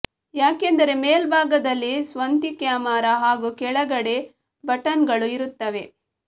ಯಾಕೆಂದರೆ ಮೇಲ್ಭಾಗ ದಲ್ಲಿ ಸ್ವಂತೀ ಕ್ಯಾಮೆರಾ ಹಾಗೂ ಕೆಳಗಡೆ ಬಟನ್ಗಳು ಇರುತ್ತವೆ